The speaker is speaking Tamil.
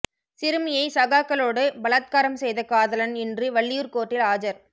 சிறுமியை சகாக்களோடு பலத்காரம் செய்த காதலன் இன்று வள்ளியூர் கோர்ட்டில் ஆஜர்